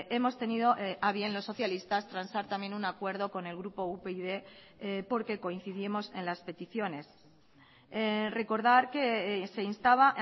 hemos tenido a bien los socialistas transar también un acuerdo con el grupo upyd porque coincidimos en las peticiones recordar que se instaba